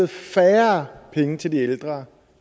færre penge til de ældre